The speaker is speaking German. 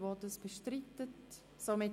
7.2.9 Durchsuchung